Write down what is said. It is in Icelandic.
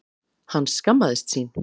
Hann skammaðist sín.